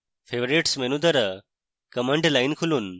favorites menu দ্বারা command line খুলুন